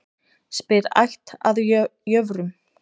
Spyr ætt að jöfrum.